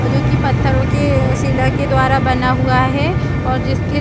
जो कि पत्थरों के सिला के द्वारा बना हुआ है और जिसके --